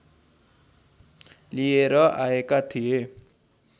लिएर आएका थिए